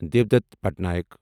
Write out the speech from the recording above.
Devdutt Patnaik